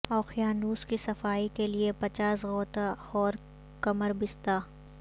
اوقیانوس کی صفائی کے لئے پچاس غوطہ خور کمر بستہ